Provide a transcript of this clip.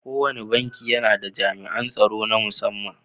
Kowane banki yAna da jami'an tsaro na mussaman